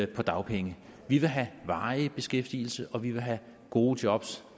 på dagpenge vi vil have varig beskæftigelse og vi vil have gode jobs